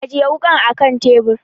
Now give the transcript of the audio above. Ajiye wakan a teburi.